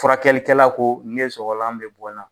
Furakɛlikɛla ko ne sɔgɔlan bɛ bɔ n na.